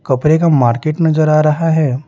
कपरे का मार्केट नजर आ रहा है।